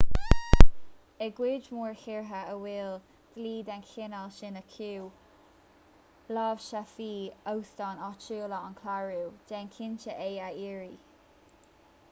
i gcuid mhór tíortha a bhfuil dlí den chineál sin acu láimhseálfaidh óstáin áitiúla an clárú déan cinnte é a iarraidh